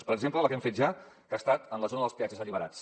per exemple la que hem fet ja que ha estat a la zona dels peatges alliberats